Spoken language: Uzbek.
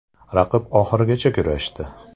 “Raqib oxirigacha kurashdi.